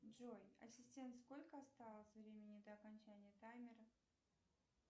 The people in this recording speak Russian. джой ассистент сколько осталось времени до окончания таймера